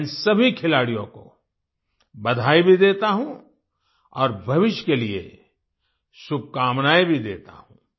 मैं इन सभी खिलाडियों को बधाई भी देता हूँ और भविष्य के लिए शुभकामनाएँ भी देता हूँ